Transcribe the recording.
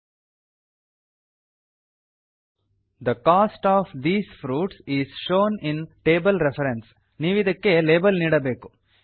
the cost of these fruits is shown in table reference ನೀವಿದಕ್ಕೆ label ನೀಡಬೇಕು